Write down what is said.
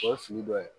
O ye fili dɔ ye